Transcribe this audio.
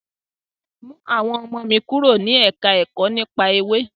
Mú àwọn ọmọ mi kúrò ní ẹ̀ka ẹ̀kọ́ nípa Ewé.